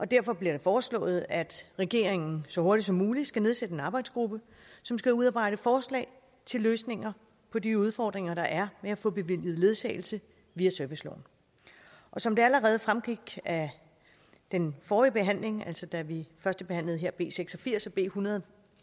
derfor bliver det foreslået at regeringen så hurtigt som muligt skal nedsætte en arbejdsgruppe som skal udarbejde forslag til løsninger på de udfordringer der er med at få bevilget ledsagelse via serviceloven som det allerede fremgik af den forrige behandling altså da vi førstebehandlede b seks og firs og b en hundrede og